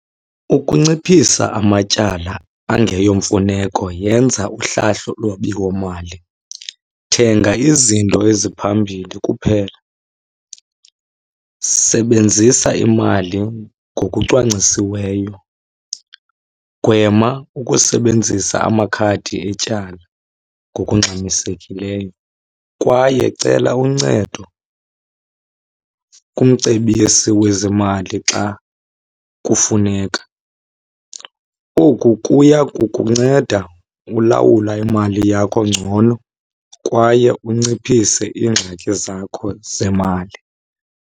Ukunciphisa amatyala angeyomfuneko yenza uhlahlo lwabiwomali, thenga izinto eziphambili kuphela, sebenzisa imali ngokucwangcisiweyo, gwema ukusebenzisa amakhadi etyala ngokungxamisekileyo kwaye cela uncedo kumcebisi wezimali xa kufuneka. Oku kuya kukunceda ulawula imali yakho ngcono kwaye unciphise iingxaki zakho zemali.